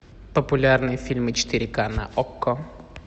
популярные фильмы четыре ка на окко